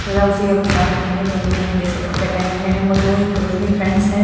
के अनुसार दोनों ने एक जैसे कपड़े पहने में वो दो एक क्लोज़ली फ्रेंड्स है।